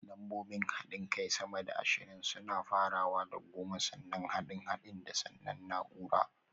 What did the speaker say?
Lambobin haɗin kai sama da ashirin suna farawa da goma, sannan haɗin haɗin da (da), sannan naúrar